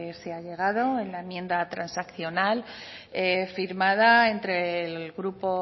se ha llegado en la enmienda transaccional firmada entre el grupo